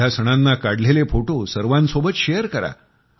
ह्या सणांना काढलेले फोटो सर्वांसोबत शेयर करा